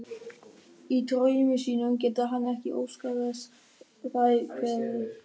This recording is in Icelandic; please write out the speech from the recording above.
Í draumi sínum getur hann ekki óskað þess þær hverfi.